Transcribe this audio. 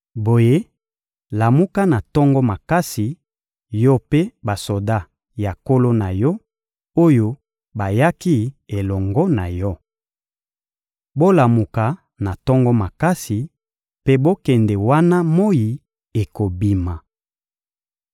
Boye, lamuka na tongo makasi, yo mpe basoda ya nkolo na yo, oyo bayaki elongo na yo. Bolamuka na tongo makasi mpe bokende wana moyi ekobima.